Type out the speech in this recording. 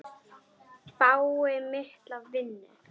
Fái mikla vinnu.